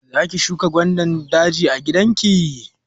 Za ki shuka gwandan daji a gida ki?